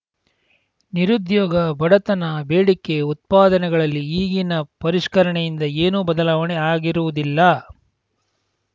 ನಿರುದ್ಯೋಗ ಬಡತನ ಬೇಡಿಕೆ ಉತ್ಪಾದನೆಗಳಲ್ಲಿ ಈಗಿನ ಪರಿಷ್ಕರಣೆಯಿಂದ ಏನೂ ಬದಲಾವಣೆ ಆಗಿರುವುದಿಲ್ಲ